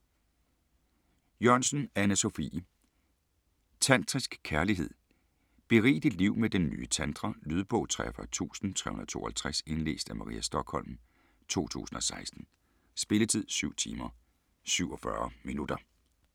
Jørgensen, Anne Sophie: Tantrisk kærlighed: berig dit liv med den nye tantra Lydbog 43352 Indlæst af Maria Stokholm, 2016. Spilletid: 7 timer, 47 minutter.